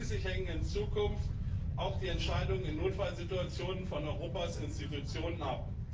Schließlich hängen in Zukunft auch die Entscheidungen in Notfallsituationen von Europas Institutionen ab.